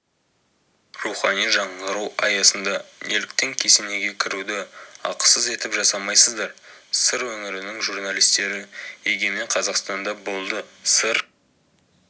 рухани жаңғыру аясында неліктен кесенеге кіруді ақысыз етіп жасамайсыздар сыр өңірінің журналистері егемен қазақстанда болды сыр